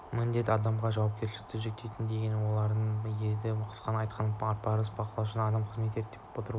міндет адамға жауапкершілікті жүктейді деген болар еді қысқасын айтқанда ар парыздың бақылаушысы адам қызметін реттеп отырушы